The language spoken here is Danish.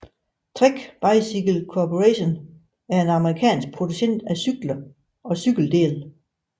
Trek Bicycle Corporation er en amerikansk producent af cykler og cykeldele